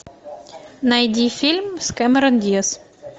найди фильм с кэмерон диаз